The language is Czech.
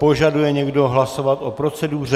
Požaduje někdo hlasovat o proceduře?